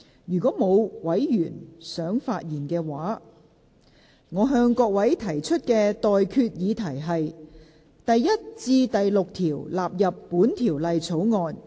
如果沒有委員想發言，我現在向各位提出的待決議題是：第1至6條納入本條例草案。